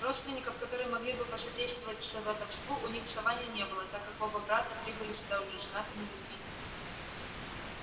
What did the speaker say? родственников которые могли бы посодействовать сватовству у них в саванне не было так как оба брата прибыли сюда уже женатыми людьми